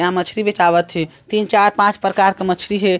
यहाँ मछरी बेचावत हे तीन चार पांच प्रकार के मछरी हे।